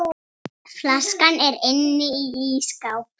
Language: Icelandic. Flaskan er inni í ísskáp.